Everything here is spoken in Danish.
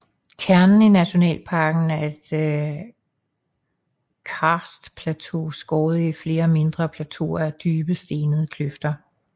Kernen i nationalparken er et karstplateau skåret i flere mindre plateauer af dybe stenede kløfter